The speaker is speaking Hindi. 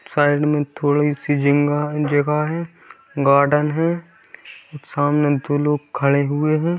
साइड मे थोड़ी सी जिंगा है जगह है गार्डन है सामने दो लोग खड़े हुए है।